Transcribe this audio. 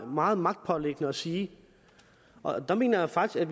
meget magtpåliggende at sige og der mener jeg faktisk